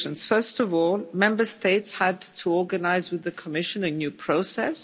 First of all, Member States had to organise with the Commission a new process.